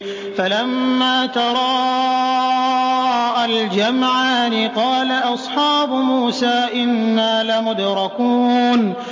فَلَمَّا تَرَاءَى الْجَمْعَانِ قَالَ أَصْحَابُ مُوسَىٰ إِنَّا لَمُدْرَكُونَ